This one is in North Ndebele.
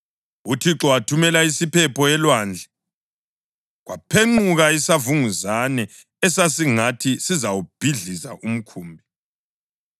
UThixo wathumela isiphepho elwandlwe, kwaphenquka isavunguzane esasingathi sizawubhidliza umkhumbi.